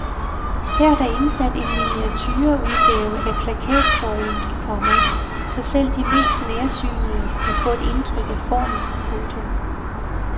Her er der indsat en miniature udgave af plakatsøjlen, komma så selv de mest nærsynede kan få et indtryk af formen. punktum